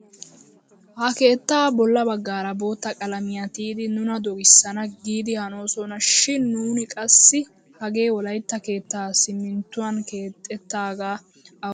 Ha keettaa bolla baggaara bootta qalamiyaa tiyidi nuna dogissana giidi hanosona shin nuni qassi hagee wolaytta keettaa siminttuwaan kexettaagaa awudekka dogokko!